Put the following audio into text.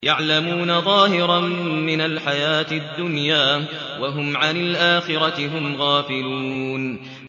يَعْلَمُونَ ظَاهِرًا مِّنَ الْحَيَاةِ الدُّنْيَا وَهُمْ عَنِ الْآخِرَةِ هُمْ غَافِلُونَ